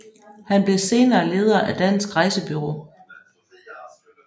Han blev senere leder af Dansk Rejsebureau